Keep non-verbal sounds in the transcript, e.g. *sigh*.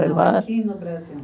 *unintelligible* aqui no Brasil.